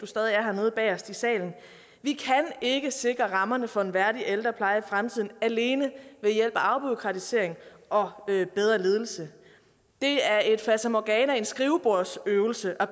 stadig er her nede bagest i salen vi kan ikke sikre rammerne for en værdig ældrepleje i fremtiden alene ved hjælp af afbureaukratisering og bedre ledelse det er et fatamorgana en skrivebordsøvelse at